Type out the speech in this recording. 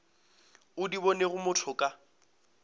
o di bonego motho ka